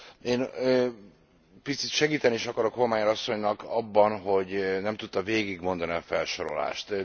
Én picit segíteni is akarok Hohlmeier asszonynak abban, hogy nem tudta végigmondani a felsorolást.